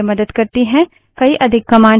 कई अधिक commands हैं